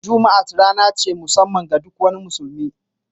Jummat rana ce ta mussaman ga duk wani musulmi